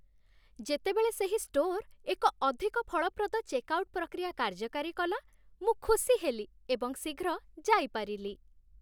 ଯେତେବେଳେ ସେହି ଷ୍ଟୋର୍ ଏକ ଅଧିକ ଫଳପ୍ରଦ ଚେକ୍ଆଉଟ୍ ପ୍ରକ୍ରିୟା କାର୍ଯ୍ୟକାରୀ କଲା, ମୁଁ ଖୁସି ହେଲି ଏବଂ ଶୀଘ୍ର ଯାଇପାରିଲି